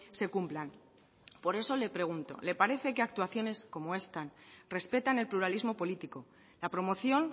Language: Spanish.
se cumplan por eso le pregunto le parece que actuaciones como esta respetan el pluralismo político la promoción